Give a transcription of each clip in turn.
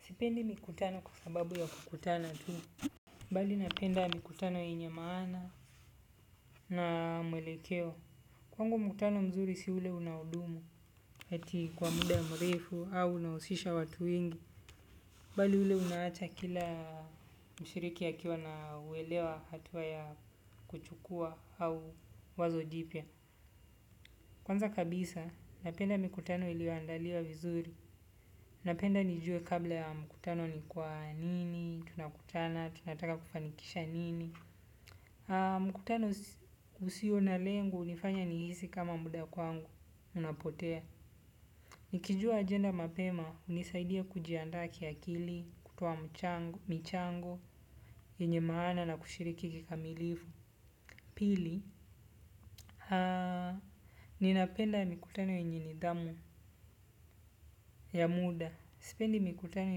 Sipendi mikutano kwa sababu ya kukutana tu. Bali napenda mikutano yenye maana na mwelekeo. Kwangu mkutano mzuri si ule unaodumu. Eti kwa muda mrefu au unausisha watu wengi. Bali ule unaacha kila mshiriki akiwa na uelewa hatuwa ya kuchukua au wazo jipia. Kwanza kabisa napenda mikutano iliyo andaliwa vizuri. Napenda nijue kabla ya mkutano ni kwa nini tunakutana, tunataka kufanikisha nini. Mkutano usio na lengo unifanya nihisi kama muda kwangu unapotea. Nikijua agenda mapema hunisaidia kujiandaa kiakili, kutoa mchango, michango yenye maana na kushiriki kikamilifu. Pili, ninapenda mikutano yenye nidhamu ya muda. Sipendi mikutano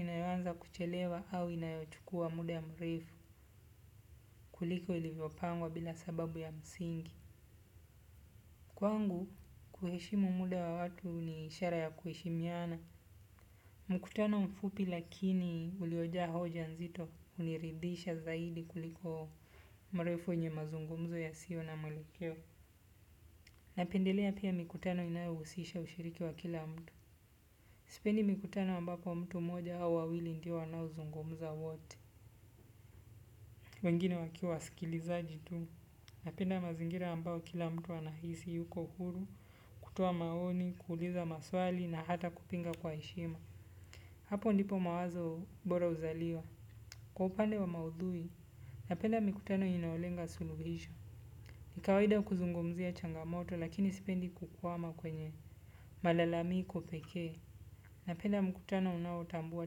inayoanza kuchelewa au inayochukua muda ya mrefu kuliko ilivyopangwa bila sababu ya msingi. Kwangu, kuheshimu muda wa watu ni ishara ya kuheshimiana. Mkutano mfupi lakini uliojaa hoja nzito uniridhisha zaidi kuliko mrefu wenye mazungumzo ya sio na muelekeo. Napendelea pia mikutano inayohusisha ushiriki wa kila mtu. Sipendi mikutano ambapo mtu mmoja au wawili ndio wanaozungumza wote. Wengine wakiwa wasikilizaji tu. Napenda mazingira ambayo kila mtu anahisi yuko huru. Kutoa maoni, kuuliza maswali na hata kupinga kwa heshima. Hapo ndipo mawazo bora uzaliwa. Kwa upande wa maudhui, napenda mikutano inayolenga suluhisho. Ni kawaida kuzungumzia changamoto lakini sipendi kukwama kwenye malalamiko pekee. Napenda mkutano unaotambua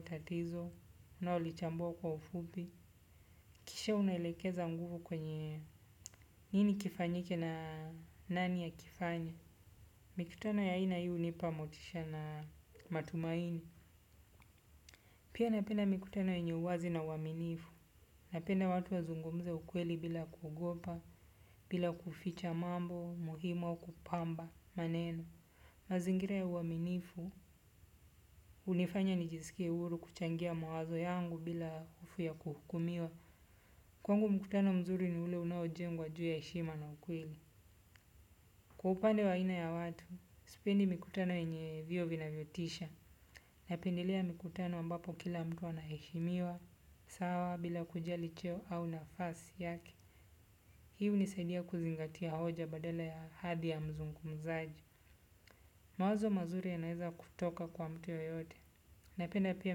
tatizo, unaolichambua kwa ufupi. Kisha unaelekeza nguvu kwenye. Nini kifanyike na nani akifanye. Mikutano ya aina hii hunipa motisha na matumaini. Pia napenda mikutano yenye uwazi na uwaaminifu. Napenda watu wazungumze ukweli bila kuogopa, bila kuficha mambo, muhimu, au kupamba, maneno. Mazingira ya uwaaminifu, unifanya nijisikie huru kuchangia mawazo yangu bila hofu ya kuhukumiwa. Kwangu mkutano mzuri ni ule unao jengwa juu ya heshima na ukweli. Kwa upande wa aina ya watu, sipendi mikutano yenye viwe vinavyotisha. Napendelea mikutano ambapo kila mtu anaheshimiwa sawa bila kujali cheo au nafasi yake. Hii hunisaidia kuzingatia hoja badala ya hadhi ya mzungumzaji. Mawazo mazuri yanaeza kutoka kwa mtu yeyote. Napenda pia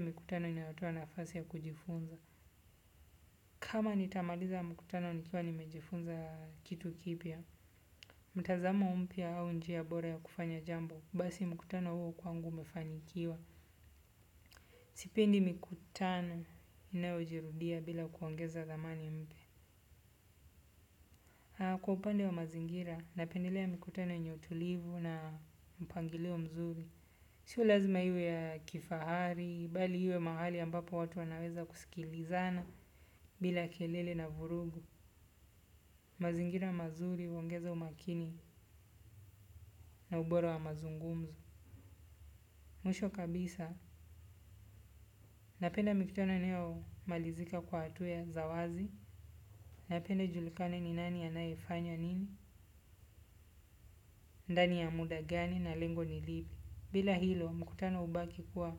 mikutano inayotoa nafasi ya kujifunza. Kama nitamaliza mkutano nikiwa nimejifunza kitu kipia, mtazamo mpya au njia bora ya kufanya jambo. Basi mkutano huo kwangu umefanikiwa. Sipendi mikutano inayo jirudia bila kuongeza dhamani mpya. Kwa upande wa mazingira, napendelea mikutano yenye utulivu na mpangilio mzuri. Sio lazima iwe ya kifahari, bali iwe mahali ambapo watu wanaweza kusikilizana bila kelele na vurugu, mazingira mazuri, huongeza umakini na ubora wa mazungumzo. Mwisho kabisa napenda mikutano inayomalizika kwa hatua za wazi na pia ijulikane ni nani anayefanya nini ndani ya muda gani na lengo ni lipi bila hilo mkutano ubaki kuwa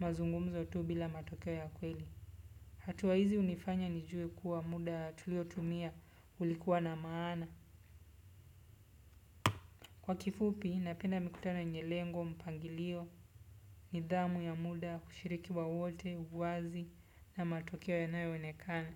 mazungumzo tu bila matokeo ya kweli hatua hizi hunifanya nijue kuwa muda tuliotumia ulikuwa na maana kwa kifupi, napenda mikutano yenye lengo, mpangilio, nidhamu ya muda, kushiriki wa wote, wazi na matukio inayoonekana.